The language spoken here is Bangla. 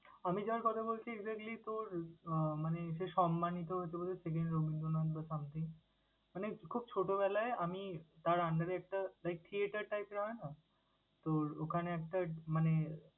আমি যার কথা বলছি exactly তোর আহ মানে সে সম্মানিত, second রবীন্দ্রনাথ বা something মানে খুব ছোটবেলায় আমি তার under এ একটা like theather type এর হয় না? তোর ওখানে একটা মানে